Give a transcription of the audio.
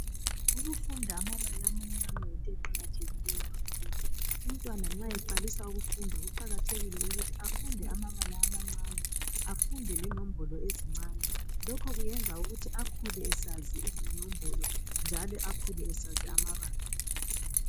Ukufunda amabala amancane yinto eqakathekileyo, umntwana nxa eqalisa ukufunda kuqakathekile ukuthi afunde amabala amancane afunde lenombolo ezincane lokho kuyenza ukuthi akhule esazi izinombolo njalo akhule esazi amabala .